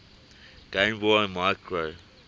game boy micro